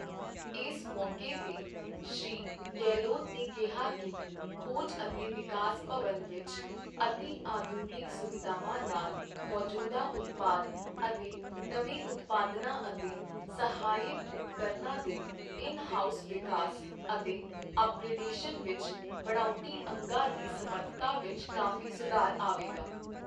ਇਸ ਮੌਕੇ ਤੇ ਸ਼੍ਰੀ ਗਹਿਲੋਤ ਨੇ ਕਿਹਾ ਕਿ ਖੋਜ ਅਤੇ ਵਿਕਾਸ ਭਵਨ ਵਿੱਚ ਅਤਿ ਆਧੁਨਿਕ ਸੁਵਿਧਾਵਾਂ ਨਾਲ ਮੌਜੂਦਾ ਉਤਪਾਦ ਅਤੇ ਨਵੇਂ ਉਤਪਾਦਨਾਂ ਅਤੇ ਸਹਾਇਕ ਉਪਕਰਨਾਂ ਦੇ ਇਨ ਹਾਊਸ ਵਿਕਾਸ ਅਤੇ ਅੱਪਗ੍ਰੇਡਸ਼ਨ ਵਿੱਚ ਬਣਾਉਟੀ ਅੰਗਾਂ ਦੀ ਸਮਰੱਥਠਾ ਵਿੱਚ ਕਾਫ਼ੀ ਸੁਧਾਰ ਆਵੇਗਾ।